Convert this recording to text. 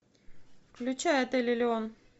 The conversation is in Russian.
включай отель элеон